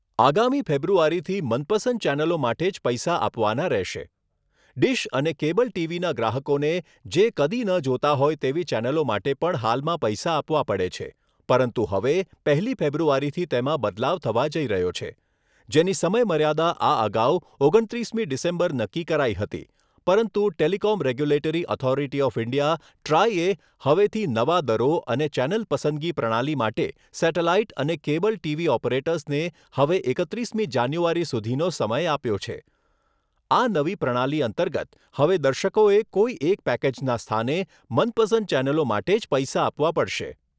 આગામી ફેબ્રુઆરીથી મનપસંદ ચેનલો માટે જ પૈસા આપવાના રહેશે. ડીશ અને કેબલ ટીવીના ગ્રાહકોને જે કદી ન જોતા હોય તેવી ચેનલો માટે પણ હાલમાં પૈસા આપવા પડે છે. પરંતુ હવે પહેલી ફેબ્રુઆરીથી તેમાં બદલાવ થવા જઈ રહ્યો છે. જેની સમયમર્યાદા આ અગાઉ ઓગણત્રીસમી ડીસેમ્બર નક્કી કરાઈ હતી પરંતુ telecom regulatory authority of India ટ્રાઈએ હવેથી નવા દરો અને ચેનલ પસંદગી પ્રણાલી માટે સેટેલાઇટ અને કેબલ ટીવી ઓપરેટર્સને હવે એકત્રીસમી જાન્યુઆરી સુધીનો સમય આપ્યો છે. આ નવી પ્રણાલી અંતર્ગત હવે દર્શકોએ કોઈ એક પેકેજના સ્થાને મનપસંદ ચેનલો માટે જ પૈસા આપવા પડશે.